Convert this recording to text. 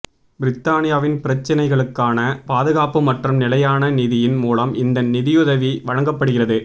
பிரித்தானியாவின் பிரச்சினைகளுக்கான பாதுகாப்பு மற்றும் நிலையான நிதியின் மூலம் இந்த நிதியுதவி வழங்கப்படுகிறது